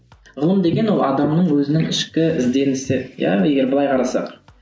ғылым деген ол адамның өзінің ішкі ізденісі иә егер былай қарасақ